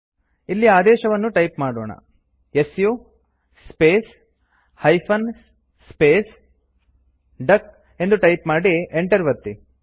ಇಲ್ಲಿ ಆದೇಶವನ್ನು ಟೈಪ್ ಮಾಡೋಣ160 su space hyphen space duck ಎಂದು ಟೈಪ್ ಮಾಡಿ Enter ಒತ್ತಿ